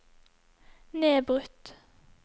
nedbrutt